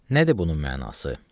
Nədir bunun mənası?